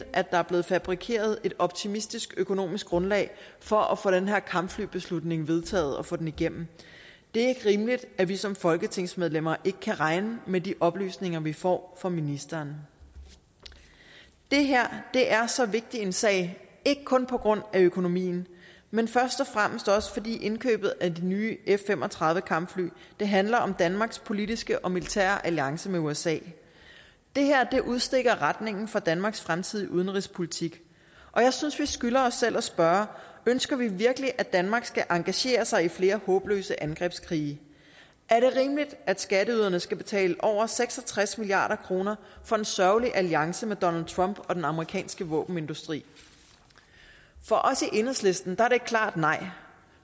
at der er blevet fabrikeret et optimistisk økonomisk grundlag for at få den her kampflybeslutning vedtaget og få den igennem det er ikke rimeligt at vi som folketingsmedlemmer ikke kan regne med de oplysninger vi får fra ministeren det her er så vigtig en sag ikke kun på grund af økonomien men først og fremmest fordi indkøbet af de nye f fem og tredive kampfly handler om danmarks politiske og militære alliance med usa det her udstikker retningen for danmarks fremtidige udenrigspolitik og jeg synes at vi skylder os selv at spørge ønsker vi virkelig at danmark skal engagere sig i flere håbløse angrebskrige er det rimeligt at skatteyderne skal betale over seks og tres milliard kroner for en sørgelig alliance med donald trump og den amerikanske våbenindustri for os i enhedslisten er det et klart nej